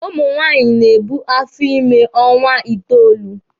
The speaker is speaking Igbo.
Ụmụ nwaanyị na-ebu afọ ímē ọnwa itoolu.